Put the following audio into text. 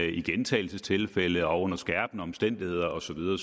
i gentagelsestilfælde og under skærpende omstændigheder og så videre